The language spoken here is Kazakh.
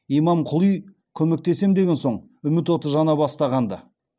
имамқұли көмектесем деген соң үміт оты жана бастағанды